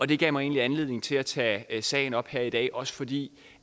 det gav mig egentlig anledning til at tage sagen op her i dag også fordi